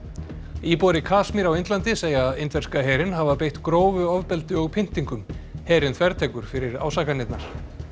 íbúar í Kasmír á Indlandi segja indverska herinn hafa beitt grófu ofbeldi og pyntingum herinn þvertekur fyrir ásakanirnar